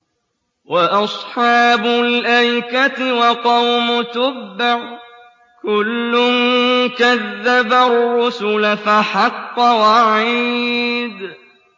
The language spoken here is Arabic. وَأَصْحَابُ الْأَيْكَةِ وَقَوْمُ تُبَّعٍ ۚ كُلٌّ كَذَّبَ الرُّسُلَ فَحَقَّ وَعِيدِ